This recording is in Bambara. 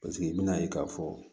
Paseke n bɛna ye k'a fɔ